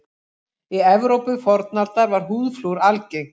Í Evrópu fornaldar var húðflúr algengt.